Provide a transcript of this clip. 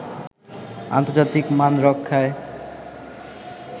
আন্তর্জাতিক মান রক্ষায়